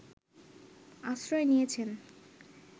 আশ্রয় নিয়েছেন